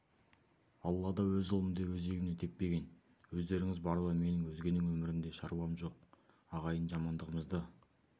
аллада өз ұлым деп өзегімнен теппеген өздеріңіз барда менің өзгенің өмірінде шаруам жоқ ағайын жамандығымызды